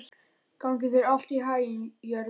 Gangi þér allt í haginn, Jörvi.